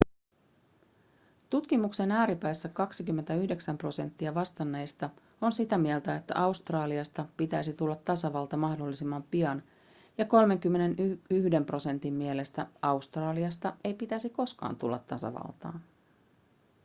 tutkimuksen ääripäissä 29 prosenttia vastanneista on sitä mieltä että australiasta pitäisi tulla tasavalta mahdollisimman pian ja 31 prosentin mielestä australiasta ei pitäisi koskaan tulla tasavaltaa